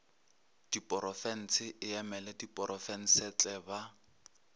diporofense e emela diprofensetle ba